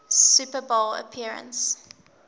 super bowl appearance